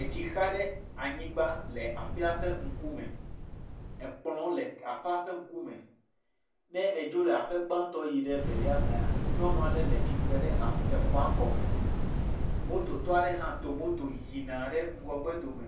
Etsi xa ɖe anyigba le aƒeawo ƒe ŋkume. Ekplɔ le eƒea ƒe ŋku me. Ne edzo le eƒe gbãtɔ yi ɖe evelia mea, nyɔnua ɖe le tsire ɖe aƒea, exɔa gɔme. Moto tɔ ɖe do moto yina ɖe ŋgɔgbe do me